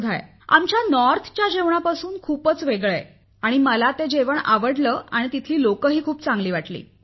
आमच्या उत्तरेतील खाद्यपदार्थापासून खूपच वेगळं आहे आणि तरी मला तेथले खाद्यपदार्थही खूप चांगले वाटले आणि तेथील लोकही खूप भले वाटले